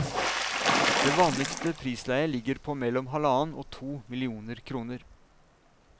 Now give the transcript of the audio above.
Det vanligste prisleie ligger på mellom halvannen og to millioner kroner.